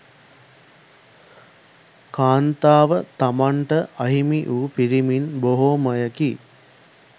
කාන්තාව තමන් ට අහිමි වූ පිරිමින් බොහෝමයකි.